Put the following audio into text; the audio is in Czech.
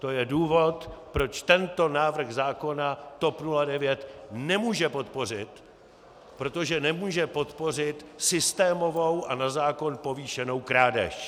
To je důvod, proč tento návrh zákona TOP 09 nemůže podpořit, protože nemůže podpořit systémovou a na zákon povýšenou krádež!